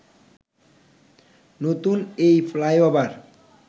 নতুন এই ফ্লাইওভার